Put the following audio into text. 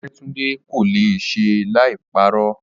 Ọdẹ́túndé kò le è ṣe láì parọ́.